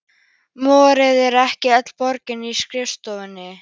Moraði ekki öll borgin í skrifstofum?